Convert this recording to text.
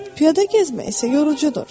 Piyada gəzmək isə yorucudur.